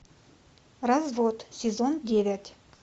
развод сезон девять